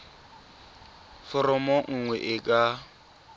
foromo e nngwe e ka